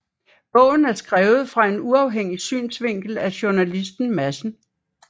Bogen er skrevet fra en uafhængig synsvinkel af journalisten Madsen